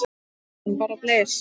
Hugrún: Bara blys?